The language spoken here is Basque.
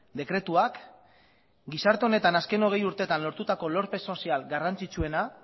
dekretuak gizarte honetan azken hogei urtetan lortutako lorpen sozial garrantzitsuena